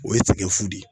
O ye tigɛ fu de ye